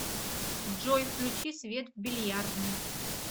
джой включи свет в бильярдной